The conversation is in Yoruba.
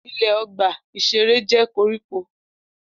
Ilẹ̀ ọgbà-ìṣeré jẹ́ koríko